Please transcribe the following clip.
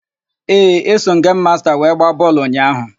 Ee, eso m gemu masta wee gbaa bọọlụ ụnyaahụ.